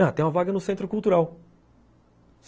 Ah, tem uma vaga no Centro Cultural.